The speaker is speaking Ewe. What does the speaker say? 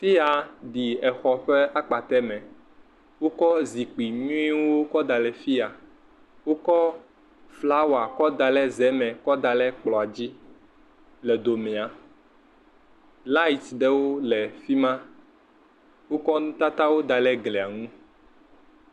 Teya ɖi exɔ ƒe akpate me, wokɔ zikpui nyuiewo kɔ daɖe fia. Wokɔ flawa kɔ daɖe zeme kɔ daɖe kplɔadzi le domea, laet ɖewo le fima. Wokɔ nutatawo daɖe gliaŋu.